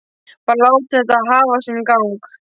Bara láta þetta hafa sinn gang.